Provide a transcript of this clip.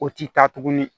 O ti taa tuguni